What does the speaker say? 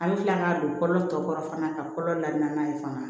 An bɛ tila k'a don kolo tɔ kɔrɔ fana ka kolo la n'a ye fana